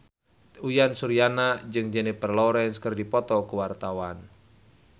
Uyan Suryana jeung Jennifer Lawrence keur dipoto ku wartawan